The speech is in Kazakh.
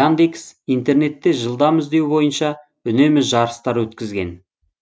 яндекс интернетте жылдам іздеу бойынша үнемі жарыстар өткізген